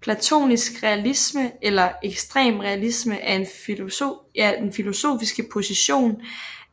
Platonisk realisme eller ekstrem realisme er den filosofiske position